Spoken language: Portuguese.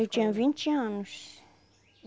Eu tinha vinte anos.